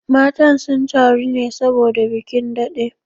Matan sun taru ne saboda bikin daɗe